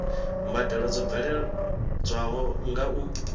mbadelo dzo bveledzwaho nga u